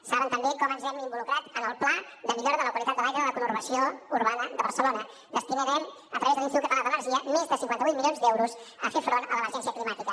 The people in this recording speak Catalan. saben també com ens hem involucrat en el pla de millora de la qualitat de l’aire de la conurbació urbana de barcelona destinarem a través de l’institut català de l’energia més de cinquanta vuit milions d’euros a fer front a l’emergència climàtica